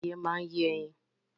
Adìẹ máa yẹ ẹyin